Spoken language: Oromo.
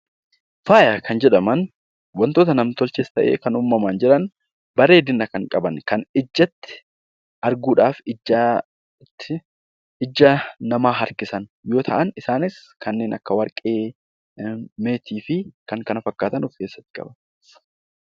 Faayaa kan jedhaman wantoota nam-tolchees ta'e uumamaan jiran, bareedina kan qaban, kan arguu dhaaf ija namaa harkisan yoo ta'an, isaanis kanneen akka Warqee, Meetii fi kan kana fakkaatan of keessatti qaba.